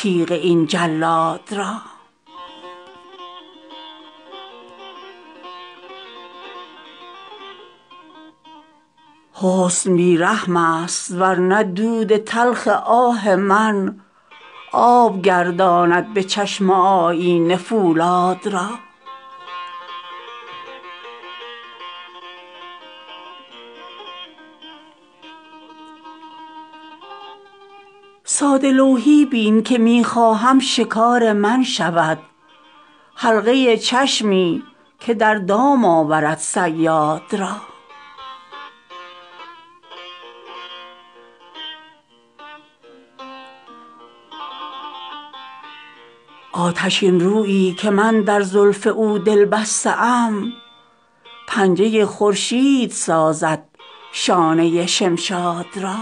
تیغ این جلاد را حسن بی رحم است ورنه دود تلخ آه من آب گرداند به چشم آیینه فولاد را ساده لوحی بین که می خواهم شکار من شود حلقه چشمی که در دام آورد صیاد را آتشین رویی که من در زلف او دل بسته ام پنجه خورشید سازد شانه شمشاد را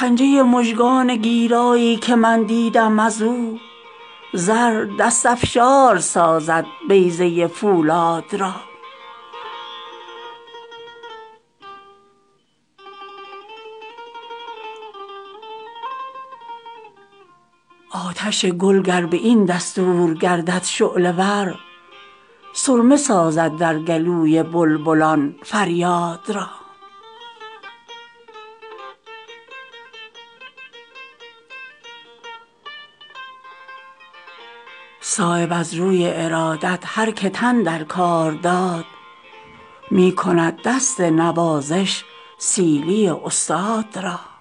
پنجه مژگان گیرایی که من دیدم ازو زر ز دست افشار سازد بیضه فولاد را آتش گل گر به این دستور گردد شعله ور سرمه سازد در گلوی بلبلان فریاد را صایب از روی ارادت هر که تن در کار داد می کند دست نوازش سیلی استاد را